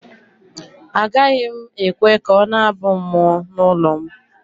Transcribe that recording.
Agaghị m ekwe ka ọ na-abụ mmụọ n’ụlọ m